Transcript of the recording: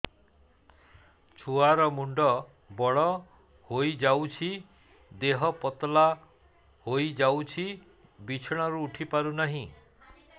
ଛୁଆ ର ମୁଣ୍ଡ ବଡ ହୋଇଯାଉଛି ଦେହ ପତଳା ହୋଇଯାଉଛି ବିଛଣାରୁ ଉଠି ପାରୁନାହିଁ